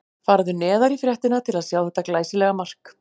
Farðu neðar í fréttina til að sjá þetta glæsilega mark.